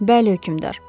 Bəli, hökmdar.